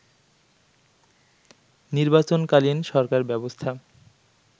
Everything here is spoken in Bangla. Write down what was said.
নির্বাচন-কালীন সরকার ব্যবস্থা